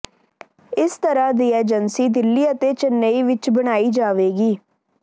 ਇਸ ਤਰ੍ਹਾਂ ਦੀ ਏਜੰਸੀ ਦਿੱਲੀ ਅਤੇ ਚੇਨਈ ਵਿਚ ਬਣਾਈ ਜਾਵੇਗੀ